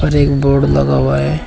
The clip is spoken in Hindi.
और एक बोर्ड लगा हुआ है।